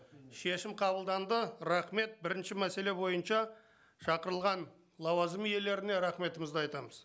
шешім қабылданды рахмет бірінші мәселе бойынша шақырылған лауазым иелеріне рахметімізді айтамыз